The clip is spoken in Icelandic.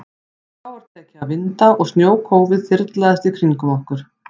Þá var tekið að vinda og snjókófið þyrlaðist í kringum okkur.